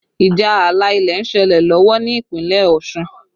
Ìjà ààlà ilẹ̀ ń ṣẹlẹ̀ lọ́wọ́ ní Ìpínlẹ̀ Ọ̀ṣun